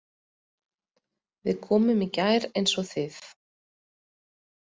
Við komum í gær eins og þið.